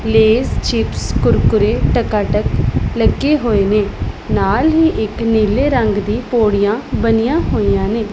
ਲੇਸ chips Kurkure Takatak ਲੱਗੇ ਹੋਏ ਨੇ ਨਾਲ ਹੀ ਇੱਕ ਨੀਲੇ ਰੰਗ ਦੀ ਪੌੜੀਆਂ ਬਣੀਆਂ ਹੋਈਆਂ ਨੇ।